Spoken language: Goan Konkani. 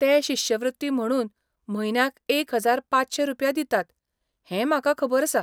ते शिश्यवृत्ती म्हणून म्हयन्याक एक हजार पांचशे रुपया दितात हें म्हाका खबर आसा.